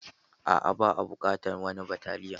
Aa, ba a buƙata wani bataliya.